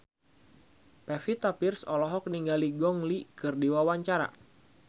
Pevita Pearce olohok ningali Gong Li keur diwawancara